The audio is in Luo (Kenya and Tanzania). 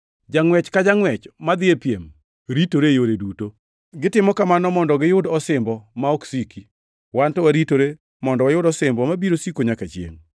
Jangʼwech ka jangʼwech madhi e piem ritore e yore duto. Gitimo kamano mondo giyud osimbo ma ok siki; wan to waritore mondo wayud osimbo mabiro siko nyaka chiengʼ.